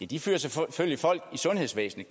de fyrer selvfølgelig folk i sundhedsvæsenet